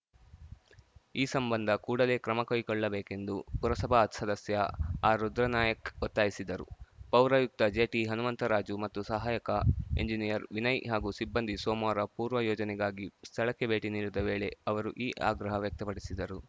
ಈ ಸಂಬಂಧ ಕೂಡಲೇ ಕ್ರಮಕೈಗೊಳ್ಳಬೇಕೆಂದು ಪುರಸಭಾ ಸದಸ್ಯ ಆರ್‌ರುದ್ರನಾಯಕ್ ಒತ್ತಾಯಿಸಿದರು ಪೌರಾಯುಕ್ತ ಜೆಟಿಹನುಮಂತರಾಜು ಮತ್ತು ಸಹಾಯಕ ಎಂಜಿನಿಯರ್‌ ವಿನಯ್‌ ಹಾಗೂ ಸಿಬ್ಬಂದಿ ಸೋಮವಾರ ಪೂರ್ವಯೋಜನೆಗಾಗಿ ಸ್ಥಳಕ್ಕೆ ಭೇಟಿ ನೀಡಿದ ವೇಳೆ ಅವರು ಈ ಆಗ್ರಹ ವ್ಯಕ್ತಪಡಿಸಿದರು